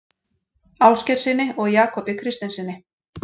Ásgeirssyni og Jakobi Kristinssyni.